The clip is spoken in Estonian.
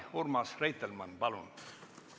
Urmas Reitelmann, palun!